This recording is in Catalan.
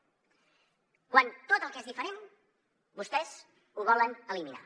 quan tot el que és diferent vostès ho volen eliminar